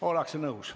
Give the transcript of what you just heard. Ollakse nõus.